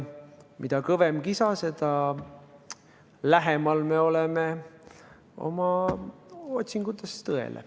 Mida kõvem kisa, seda lähemal me oleme oma otsingutes tõele.